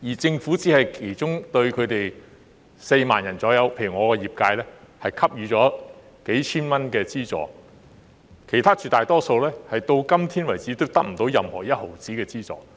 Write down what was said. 政府只是對其中4萬人——例如我的業界——給予數千元資助，其他絕大多數人至今仍得不到一分錢的資助。